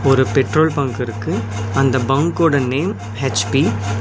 ஒரு petrol bunk இருக்கு அந்த பங்கோட நேம் எச்_பி .